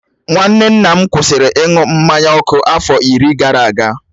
Nwanne nna m kwụsịrị ịṅụ mmanya ọkụ afọ iri gara aga.